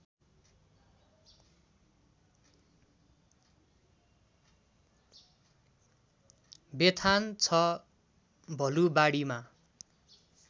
Bethan ६ भलुवाडीमा